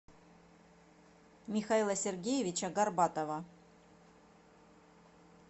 михаила сергеевича горбатова